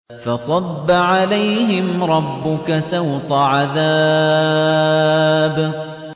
فَصَبَّ عَلَيْهِمْ رَبُّكَ سَوْطَ عَذَابٍ